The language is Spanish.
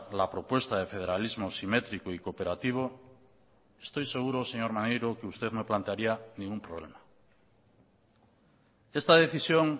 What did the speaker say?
la propuesta de federalismo simétrico y cooperativo estoy seguro señor maneiro que usted no plantearía ningún problema esta decisión